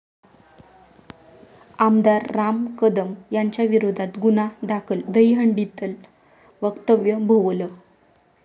आमदार राम कदम यांच्याविरोधात गुन्हा दाखल, दहीहंडीतलं वक्तव्य भोवलं